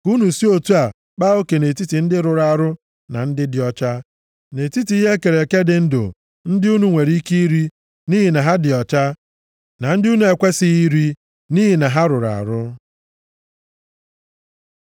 Ka unu si otu a kpaa oke nʼetiti ndị rụrụ arụ na ndị dị ọcha, nʼetiti ihe e kere eke dị ndụ ndị unu nwere ike iri nʼihi na ha dị ọcha, na ndị unu na-ekwesighị iri nʼihi na ha rụrụ arụ.’ ”